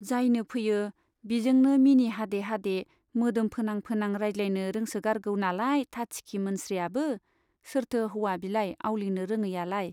जायनो फैयो बिजोंनो मिनि हादे हादे मोदोम फोनां फोनां रायज्लायनो रोंसोगारगौ नालाय थाथिखि मोनस्रियाबो , सोरथो हौवा बिलाय आवलिनो रोङैयालाय ?